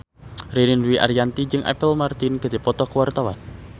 Ririn Dwi Ariyanti jeung Apple Martin keur dipoto ku wartawan